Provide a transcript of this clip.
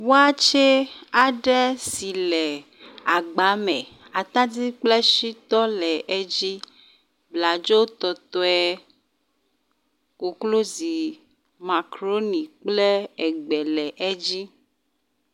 Wakye aɖe si le agba me atadi kple shitɔ le edzi. Bladzotɔtɔe, koklozi, makroni kple egbe le edzi.